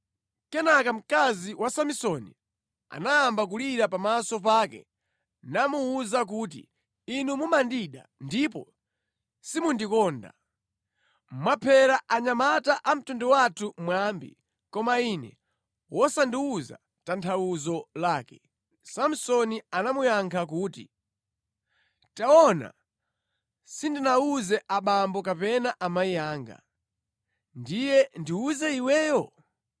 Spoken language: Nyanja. Kenaka mkazi wa Samsoni anayamba kulira pamaso pake namuwuza kuti, “Inu mumandida ndipo simundikonda. Mwaphera anyamata a mtundu wathu mwambi, koma ine wosandiwuza tanthauzo lake.” Samsoni anamuyankha kuti, “Taona sindinawuze abambo kapena amayi anga, ndiye ndiwuze iweyo?”